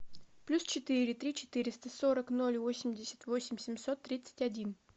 плюс четыре три четыреста сорок ноль восемьдесят восемь семьсот тридцать один